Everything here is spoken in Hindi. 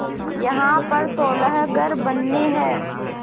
यहाँ पर सोलह घर बनने हैं